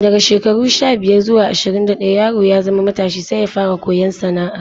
Daga shekaru sha-biyar zuwa ashirin da ɗaya yaro ya zama matashi sai ya fara koyon sana'a.